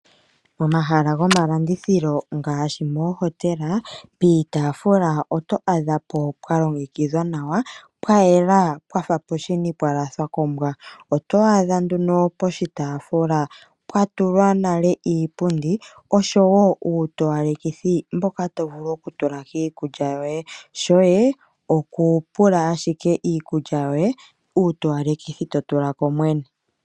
Omahala gomalandithilo ngaashi moohotela piitafula oto adha po pwa longekidhwa nawa pwa yela pwa fa podhini pwa lafwa kombwa oto adha nduno poshitaafula pwa tulwa iipundi ngoye oto adha wo pwa tulwa iitowalekithi yiikulya yoye ngoye shoye oku pula owala iikulya yoye uutowalekithi to tula ko mwene.